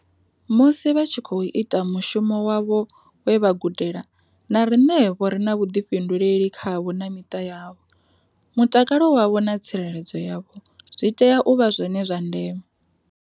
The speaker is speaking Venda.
Musi vha tshi khou ita mushumo wavho we vha gudela, na riṋevho ri na vhuḓifhinduleli khavho na miṱa yavho. Mutakalo wavho na tsireledzo yavho zwi tea u vha zwone zwa ndeme.